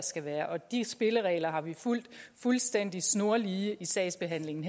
skal være og de spilleregler har vi fulgt fuldstændig snorlige i sagsbehandlingen